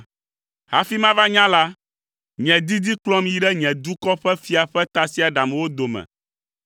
Hafi mava nya la, nye didi kplɔm yi ɖe nye dukɔ ƒe fia ƒe tasiaɖamwo dome.